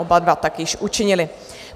Oba dva tak již učinili.